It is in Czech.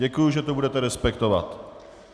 Děkuji, že to budete respektovat.